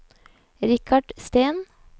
Richard Steen